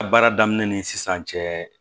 A baara daminɛ ni sisan cɛ